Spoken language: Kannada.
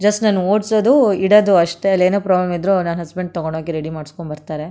ಜಸ್ಟ್ ನಾನು ಓಡ್ಸೋದು ಇಡದು ಅಷ್ಟೇ ಅಲ್ಲೇನೆ ಪ್ರಾಬ್ಲಮ್ ಇದ್ರು ನನ್ ಹಸ್ಬೆಂಡ್ ತಗೊಂಡು ಹೋಗಿ ರೆಡಿ ಮಾಡಿಸ್ಕೊಂಡು ಬರ್ತಾರೆ.